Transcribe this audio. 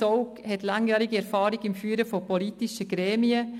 Zaugg hat langjährige Erfahrung im Führen von politischen Gremien.